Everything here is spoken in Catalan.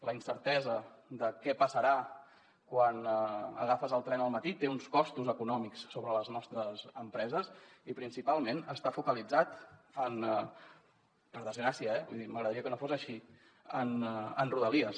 la incertesa de què passarà quan agafes el tren al matí té uns costos econòmics sobre les nostres empreses i principalment està focalitzat per desgràcia eh vull dir m’agradaria que no fos així en rodalies